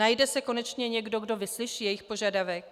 Najde se konečně někdo, kdo vyslyší jejich požadavek?